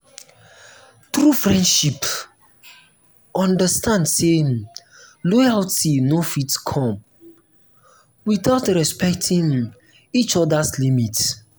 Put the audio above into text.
true friendship understand say um loyalty no fit no fit come without respecting um each other’s limits.